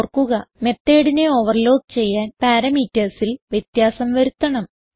ഓർക്കുക methodനെ ഓവർലോഡ് ചെയ്യാൻ parametersൽ വ്യത്യാസം വരുത്തണം